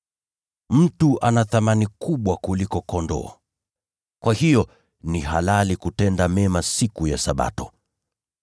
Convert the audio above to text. Mtu ana thamani kubwa kuliko kondoo. Kwa hiyo ni halali kutenda mema siku ya Sabato.”